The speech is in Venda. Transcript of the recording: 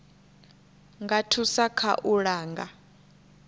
nga thusa kha u langa